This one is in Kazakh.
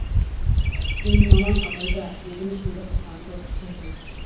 сенің мамаң абайда дедім ішімді қызғаныш оты кернеп